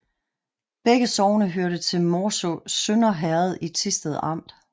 Begge sogne hørte til Morsø Sønder Herred i Thisted Amt